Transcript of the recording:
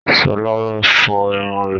Sọlá ń fọ irun rẹ̀